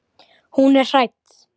Hún er hrædd.